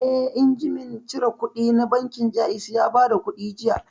Eh, injimin cire kuɗi na bankin Jaiz ya bada kuɗi jiya